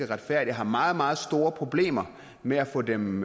retfærdige og har meget meget store problemer med at få dem